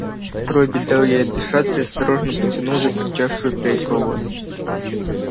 робби дал ей отдышаться и осторожно потянул за торчавшую прядь волос